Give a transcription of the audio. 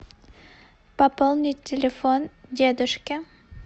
пополнить телефон дедушке